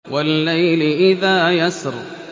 وَاللَّيْلِ إِذَا يَسْرِ